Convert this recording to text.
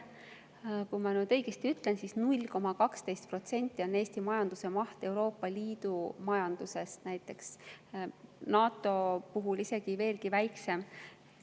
ma nüüd ütlen õigesti, et Eesti majanduse maht on 0,12% Euroopa Liidu majanduse, NATO isegi veelgi väiksem.